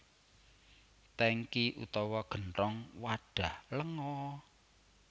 Tèngki utawa genthong wadhah lenga